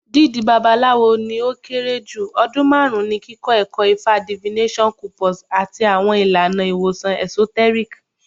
Dídí Babalawo ni o kere ju ọdun marun ti kikọ ẹkọ Ifa divination corpus ati awọn ilana iwosan esoteric.